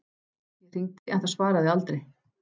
Ég hringdi en það svaraði aldrei.